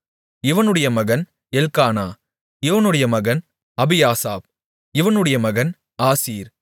இவனுடைய மகன் எல்க்கானா இவனுடைய மகன் அபியாசாப் இவனுடைய மகன் ஆசீர்